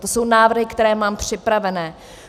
To jsou návrhy, které mám připravené.